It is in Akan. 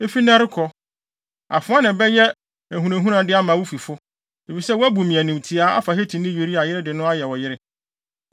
Efi nnɛ rekɔ, afoa na ɛbɛyɛ ahunahunade ama wo fifo, efisɛ woabu me animtiaa, afa Hetini Uria yere de no ayɛ wo yere.’